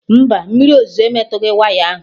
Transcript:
Mba, mmiri ozuzo emetughị waya ahụ